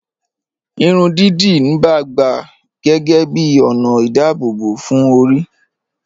Ìrùn díídí níbà gbà géégé bí onà ìdábòbò fún orí.